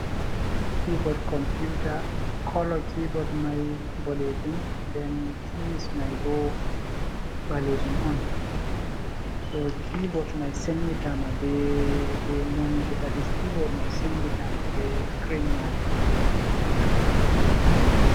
Kibod computa kolo kibod mai boɗejum nden kis mai bo ɓalejum on. So kibot mai senditama be monito dadis kibot mai senditama be scrim majum.